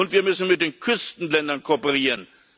Und wir müssen mit den Küstenländern kooperieren.